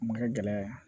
Ma kɛ gɛlɛya ye